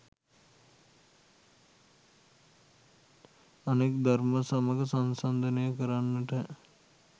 අනෙක් දර්ම සමග සංසන්දනය කරන්න